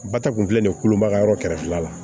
Ba ta kun filɛ nin ye kolomayɔrɔ kɛrɛfɛla la